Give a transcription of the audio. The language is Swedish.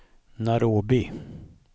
Nairobi